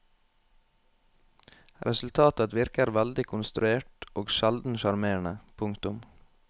Resultatet virker veldig konstruert og sjelden sjarmerende. punktum